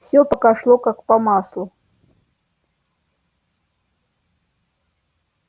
всё пока шло как по маслу